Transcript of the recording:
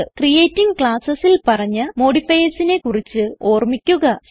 creating Classesൽ പറഞ്ഞ modifiersനെ കുറിച്ച് ഓർമിക്കുക